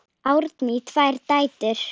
Árni á tvær dætur.